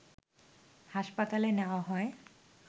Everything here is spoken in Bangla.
হাসপাতালে নেয়া হয়